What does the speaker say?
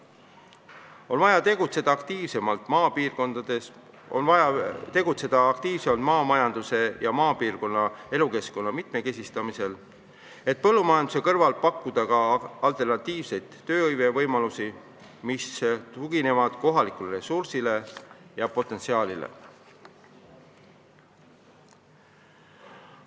On vaja tegutseda aktiivsemalt maapiirkondades, on vaja tegutseda aktiivsemalt maamajanduse ja maapiirkondade elukeskkonna mitmekesistamisel, et põllumajanduse kõrval pakkuda ka alternatiivseid töövõimalusi, mis tuginevad kohalikule ressursile ja potentsiaalile.